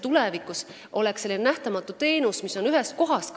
Tulevikus oleks see kõik selline n-ö nähtamatu teenus, mis on kõik ühes kohas.